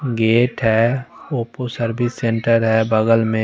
gate हैं Oppo service centre हैं बगल में--